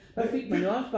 Ja vildt